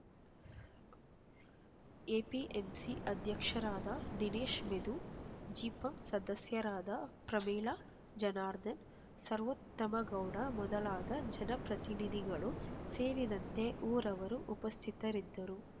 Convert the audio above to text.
APMC ಅಧ್ಯಕ್ಷರಾದ ದಿನೇಶ್ ಮೆದು ಜಿಪಂಸದಸ್ಯರಾದ ಪ್ರಮೀಳಾ ಜನಾರ್ಧನ್ ಸರ್ವೋತ್ತಮ ಗೌಡ ಮೊದಲಾದ ಜನಪ್ರತಿನಿಧಿಗಳು ಸೇರಿದಂತೆ ಊರವರು ಉಪಸ್ಥಿತರಿದ್ದರು